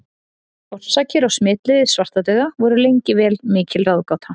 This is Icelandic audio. Orsakir og smitleiðir svartadauða voru lengi vel mikil ráðgáta.